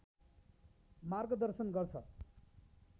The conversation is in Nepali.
मार्गदर्शन गर्छ